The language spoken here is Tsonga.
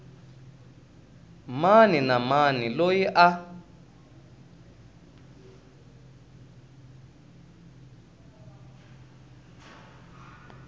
mani na mani loyi a